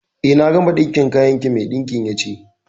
Eh, na gama ɗinkin kayan ki. Mai ɗinkin ya ce.